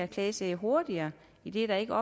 klagesager hurtigere idet der ikke